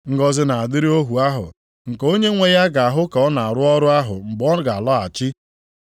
Ngọzị na-adịrị ohu ahụ nke onyenwe ya ga-ahụ ka ọ na-arụ ọrụ ahụ mgbe ọ ga-alọghachi.